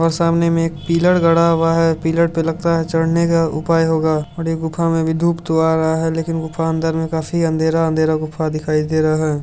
और सामने में एक पिलर हुआ है पिलर पे लगता है चड़ने का पर यह गुफा में धुप तो आ रहा है लेकिन दुकान दार में काफी अंधरे अँधेरा गुफा दिखाई दे रहा है।